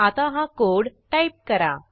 आता हा code type करा